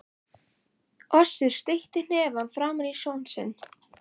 Össur steytti hnefa framan í son sinn.